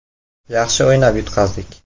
Yaxshi o‘ynab yutqazdik.